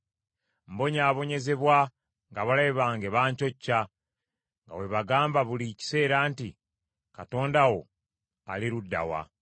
Mbonyaabonyezebwa ng’abalabe bange bancocca, nga bwe bagamba buli kiseera nti, “Katonda wo ali ludda wa?”